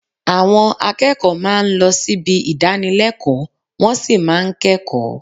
Àwọn akẹ́kọ̀ọ́ máa ń lọ síbi ìdánilẹ́kọ̀ọ́, wọ́n sì máa ń kẹ́kọ̀ọ́